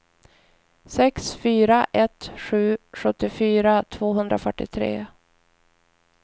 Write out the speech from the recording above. sex fyra ett sju sjuttiofyra tvåhundrafyrtiotre